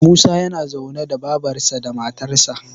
Musa yana zaune da babarsa da matarsa